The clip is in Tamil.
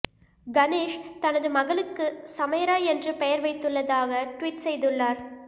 கணேஷ் தனது மகளுக்கு சமைரா என்று பெயர் வைத்துள்ளதாக ட்வீட் செய்துள்ளார்